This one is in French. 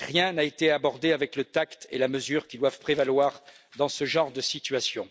Rien n'a été abordé avec le tact et la mesure qui doivent prévaloir dans ce genre de situation.